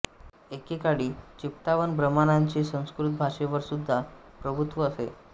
एके काळी चित्पावन ब्राह्मणांचे संस्कृत भाषेवरसुद्धा प्रभुत्व असे